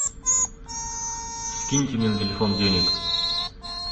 скиньте мне на телефон денег